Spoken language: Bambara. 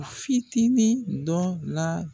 A fitinin dɔ la